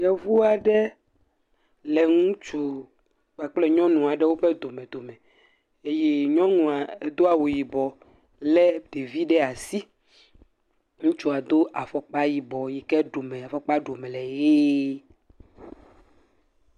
Yevu aɖe le ŋutsu kpakple nyɔnu aɖewo domedome eye nyɔnua edo awu yibɔ lé ɖevi ɖe asi, ŋutsua do afɔkpa yibɔ yi ke ɖome afɔkpa ɖɔme le ʋie.